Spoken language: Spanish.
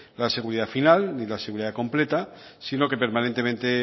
la seguridad final ni la seguridad completa sino que permanentemente